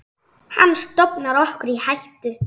Hann stofnar okkur í hættu.